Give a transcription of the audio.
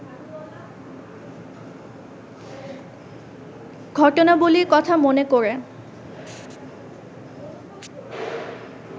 ঘটনাবলির কথা মনে করে